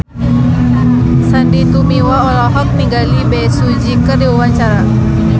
Sandy Tumiwa olohok ningali Bae Su Ji keur diwawancara